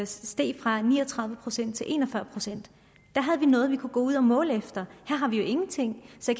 steg fra ni og tredive procent til en og fyrre procent da havde vi noget vi kunne gå ud og måle på her har vi jo ingenting så